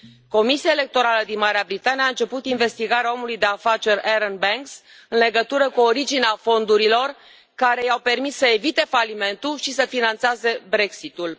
Comisia electorală din Marea Britanie a început investigarea omului de afaceri Arron Banks în legătură cu originea fondurilor care i au permis să evite falimentul și să finanțeze Brexitul.